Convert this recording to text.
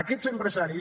aquests empresaris